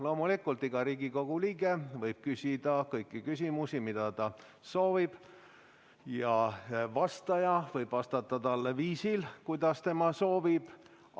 Loomulikult, iga Riigikogu liige võib küsida kõiki küsimusi, mida ta soovib, ja vastaja võib vastata talle viisil, kuidas tema soovib.